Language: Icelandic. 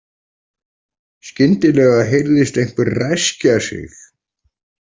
Skyndilega heyrðist einhver ræskja sig.